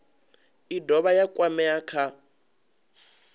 i dovha ya kwamea kha